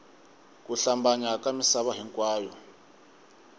ku hlambanya ka misava hinkwayo